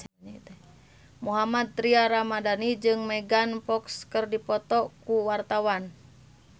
Mohammad Tria Ramadhani jeung Megan Fox keur dipoto ku wartawan